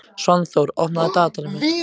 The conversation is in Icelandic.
Svanþór, opnaðu dagatalið mitt.